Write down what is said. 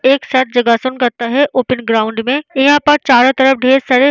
एक साथ योगासन करता है ओपन ग्राउंड में यहाँ पर चारो तरफ ढेर सारे --